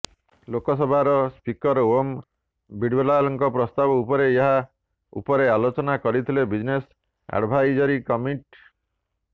ଲୋକସଭାର ସ୍ପିକର ଓମ ବିଡଲାଙ୍କ ପ୍ରସ୍ଥାବ ପରେ ଏହା ଉପରେ ଆଲୋଚନା କରିଥିଲେ ବିଜନେସ ଆଡଭାଇଜରୀ କମିଟି